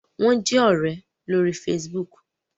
Wón jé òré lórí Facebook